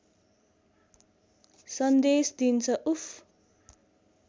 सन्देश दिन्छ उफ्